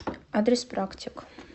адрес практик